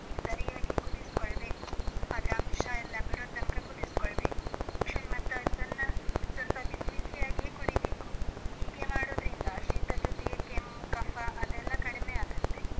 ಸರಿಯಾಗಿ ಕುದಿಸ್ಕೊಳ್ಬೇಕು. ಅದ್ರ ಅಂಶ ಎಲ್ಲ ಬಿಡುವ ತನಕ ಕುದಿಸ್ಕೊಳ್ಬೇಕು. ಮತ್ತು ಅದನ್ನ, ಸ್ವಲ್ಪ ಬಿಸಿ ಬಿಸಿಯಾಗಿಯೇ ಕುಡಿಬೇಕು. ಹೀಗೆ ಮಾಡೋದ್ರಿಂದ ಶೀತದ್ ಜೊತೆಗೆ ಕೆಮ್ಮು, ಕಫ ಅದೆಲ್ಲ ಕಡಿಮೆ ಆಗತ್ತೆ.